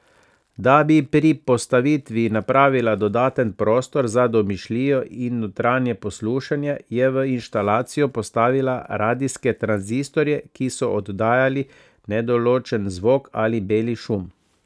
Da bi pri postavitvi napravila dodaten prostor za domišljijo in notranje poslušanje, je v instalacijo postavila radijske tranzistorje, ki so oddajali nedoločen zvok ali beli šum.